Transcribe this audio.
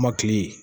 Kɔmɔkili